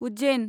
Ujjain